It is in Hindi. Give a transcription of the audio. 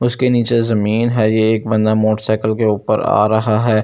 उसके नीचे जमीन है ये एक बंदा मोटरसाइकल के ऊपर आ रहा है।